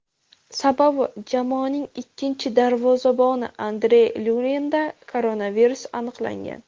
Sababi jamoaning ikkinchi darvozaboni Andrey Luninda koronavirus aniqlangan.